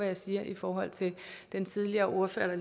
jeg siger i forhold til den tidligere ordfører der